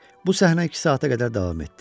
Bu səhnə iki saata qədər davam etdi.